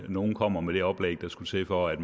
nogle kommer med det oplæg der skulle til for at